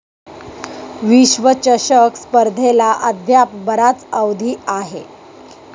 विश्वचषक स्पर्धेला अद्याप बराच अवधी आहे.